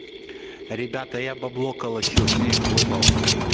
ребята я бабло калачу снег выпал